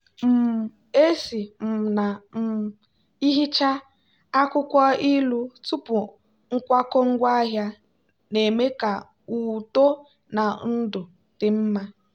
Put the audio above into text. um esi um na um ihicha akwukwo ilu tupu nkwakọ ngwaahịa na-eme ka uto na ndụ dị mma.